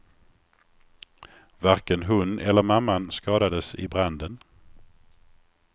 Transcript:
Varken hon eller mamman skadades i branden.